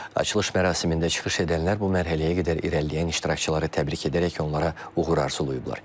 Açılış mərasimində çıxış edənlər bu mərhələyə qədər irəliləyən iştirakçıları təbrik edərək onlara uğur arzulayıblar.